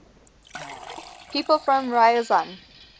people from ryazan